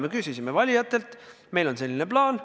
Me ütlesime valijatele, et meil on selline plaan.